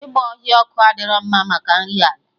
Ịgba ọhịa ọkụ adịro mma maka nri ala